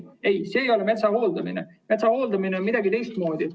Ei, see ei ole metsa hooldamine, metsa hooldamine käib teistmoodi.